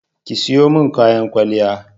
Ki sayo min kayan kwalliya!